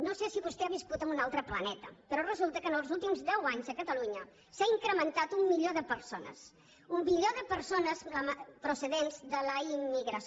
no sé si vostè ha viscut en un altre planeta però resulta que en els últims deu anys a catalunya s’ha incrementat un milió de persones un milió de persones procedents de la immigració